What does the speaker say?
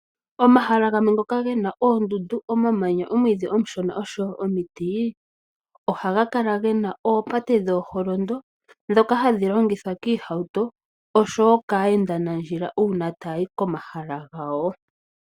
Omahala gamwe ngoka gena oondundu, omamanya, omwiidhi omushona, oshowo omiti, ohaga kala gena oopate dhooholondo, dhoka hadhi longithwa kiihauto oshowo kaayendanandjila una taya hi komahala gawo.